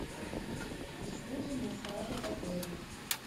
услуги массажа в отеле